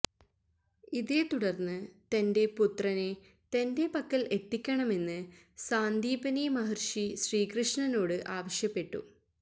ഇതേത്തുടര്ന്ന് തൻ്റെ പുത്രനെ തൻ്റെ പക്കൽ എത്തിക്കണമെന്ന് സാന്ദീപനി മഹര്ഷി ശ്രീകൃഷ്ണനോട് ആവശ്യപ്പെട്ടു